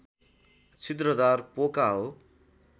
छिद्रदार पोका हो